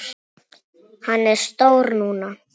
Hann er stór núna.